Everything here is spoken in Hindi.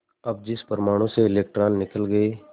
अब जिस परमाणु से इलेक्ट्रॉन निकल गए